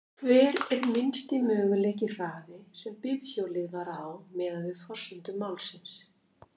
Hver er minnsti mögulegi hraði sem bifhjólið var á miðað við forsendur málsins?